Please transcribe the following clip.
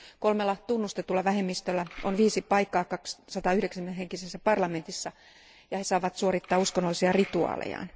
Kolmella tunnustetulla vähemmistöllä on viisi paikkaa 190 henkisessä parlamentissa ja he saavat suorittaa uskonnollisia rituaalejaan.